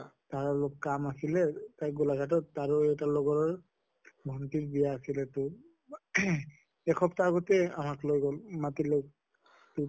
আৰু অলপ কাম আছিলে তা গোলাঘাটত আৰু এটা লগৰ ভণ্টিৰ বিয়া আছিলে তোৰ ing এসপ্তাহ আগতে আমাক লৈ গʼল মাতিলʼ তʼ